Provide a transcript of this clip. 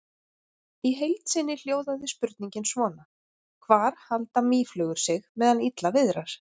Í heild sinni hljóðaði spurningin svona: Hvar halda mýflugur sig meðan illa viðrar?